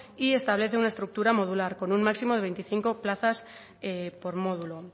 y establece una estructura modular con un máximo de veinticinco plazas por módulo